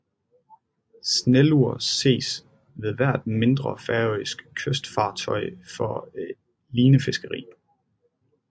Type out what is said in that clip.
Snellur ses ved hvert mindre færøsk kystfartøj for linefiskeri